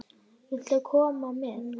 Viltu koma með?